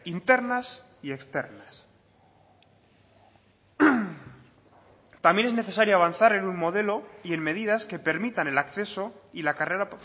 internas y externas también es necesario avanzar en un modelo y en medidas que permitan el acceso y la carrera